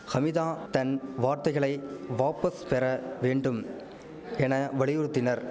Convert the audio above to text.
ஹமிதா தன் வார்த்தைகளை வாபஸ் பெற வேண்டும் என வலியுறுத்தினர்